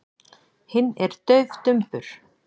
Hinn er daufdumbur.